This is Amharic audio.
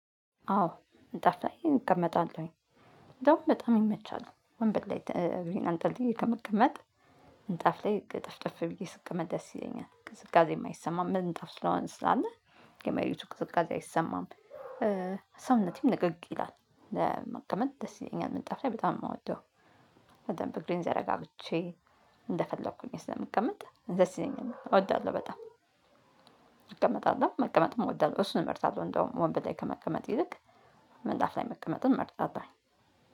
አዎ ምንጣፍ ላይ እንቀመጣለሁኝ። እንደውም በጣም ይመቻል፣ ወንበል ላይ እግሬን አንጠልጥዬ ከምቀመጥ ምንጥፍ ላይ እጥፍጥፍ ብዬ ስቀመጥ ደስ ይለኛል። ቅዝቃዜ አይሰማም። ምንጥፍ ስለሆንን ስላለ የመሬቱ ቅዝቃዜ አይሰማም። ሰውነተም ልቅቅ ይላል። ለመቀመጥ ደስ ይለኛል፣ መቀመጥ በጣም ነው የሚወደው። በደንብ እግሬን ዘረጋግቼ እንደፈለኩ ሆኘ ስለሚቀመጥ ደስ ይለኛል፣ እወዳለሁ በጣም። እቀመጣለሁ፣ መቀመጥም እወዳለሁ፣ እሱን መርጣለሁ እንዲያውም ወንበር ላይ ከመቀመጥ ይልቅ ምንጣፍ ላይ መቀመጥን መርጣለሁኝ።